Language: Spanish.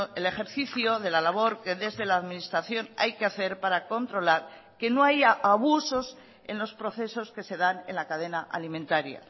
el ejercicio de la labor que desde la administración hay que hacer para controlar que no haya abusos en los procesos que se dan en la cadena alimentaria